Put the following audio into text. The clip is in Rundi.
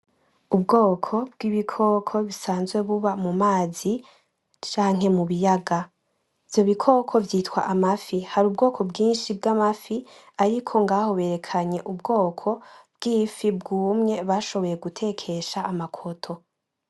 Ubwoko bw'ibikoko busanzwe buba mu mazi canke mu biyaga. Ivyo bikoko vyitwa amafi. Hari ubwoko bwinshi bw'amafi ariko ngaho berekanye ubwoko bw'ifi bwumye bashoboye gutekesha amakoto.